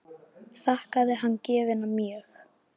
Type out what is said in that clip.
Þakkaði hann gjöfina mjög.